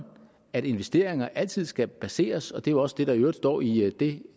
at investeringer altid skal baseres på og det er jo også det der i øvrigt står i det